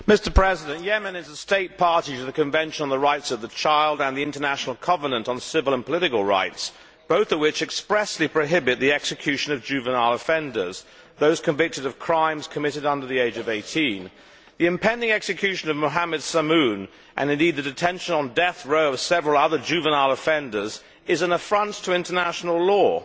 Mr President, Yemen is a state party to the Convention on the Rights of the Child and the International Covenant on Civil and Political Rights, both of which expressly prohibit the execution of juvenile offenders those convicted of crimes committed when the perpetrators were under the age of 18. The impending execution of Muhammed Samoum, and indeed the detention on death row of several other juvenile offenders, is an affront to international law.